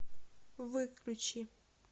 выключи